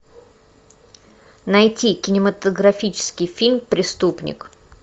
найти кинематографический фильм преступник